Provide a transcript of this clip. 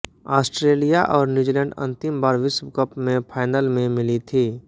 Australia और New Zealand अंतिम बार विश्व कप में फाइनल में मिली थी